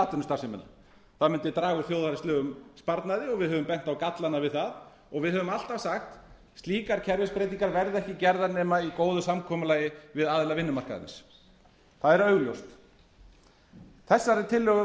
atvinnustarfsemina það mundi draga úr þjóðhagslegum sparnaði og við höfum bent á gallana við það við höfum alltaf sagt slíkar kerfisbreytingar verða ekki gerðar nema í góðu samkomulagi við aðila vinnumarkaðarins það er augljóst þessari tillögu